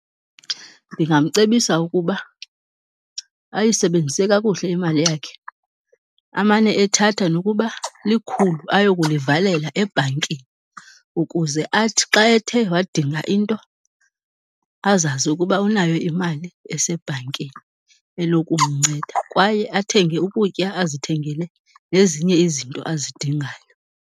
Ndingamcebisa ukuba ayisebenzise kakuhle imali yakhe, amane ethatha nokuba likhulu ayokulivalela ebhankini ukuze athi xa ethe wadinga into azazi ukuba unayo imali esebhankini enokumnceda. Kwaye athenge ukutya, azithengele nezinye izinto azidingayo.